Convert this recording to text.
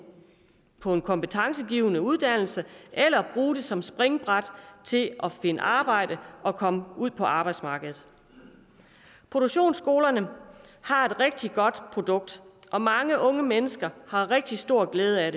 på en kompetencegivende uddannelse eller bruge det som springbræt til at finde arbejde og komme ud på arbejdsmarkedet produktionsskolerne har et rigtig godt produkt og mange unge mennesker har rigtig stor glæde af